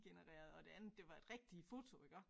Genereret og det andet det var et rigtigt foto iggå